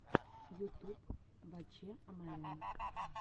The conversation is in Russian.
ютуб ваче амарян